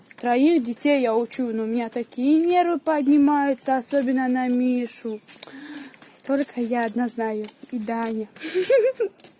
троих детей я учу но у меня такие нервы поднимаются особенно на мишу только я одна знаю и даня